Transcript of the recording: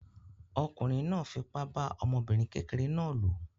Ọkùnrin náà fipá bá ọmọbìnrin kékeré náà lò.